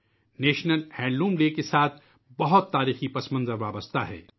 قومی یومِ handloom کے ساتھ بہت تاریخی واقعہ جڑا ہوا ہے